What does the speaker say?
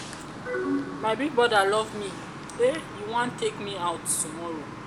my big broda love me eh e wan take me out tomorrow.